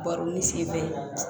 Baro ni sen bɛɛ ye